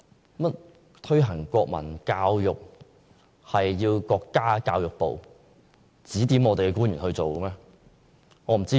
為何推行國民教育要由國家教育部指點香港官員推行？